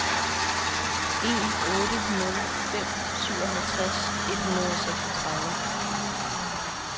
en otte nul fem syvoghalvtreds et hundrede og seksogtredive